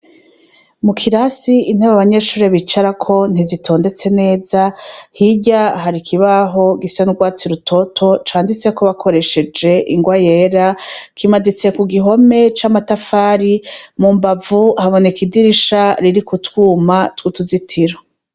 Mu kirasi intebe abanyeshure bicarako ntizitondetse neza , hirya hari ikibaho gisa n'urwatsi rutoto canditseko bakoresheje ingwa yera kimaditse ku gihome c'amatafari , mu mbavu haboneka idirisha ririko utwuma tw'utuzitiro.